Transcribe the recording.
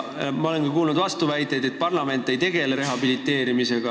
Ma olen ka kuulnud vastuväiteid, et parlament ei tegele rehabiliteerimisega.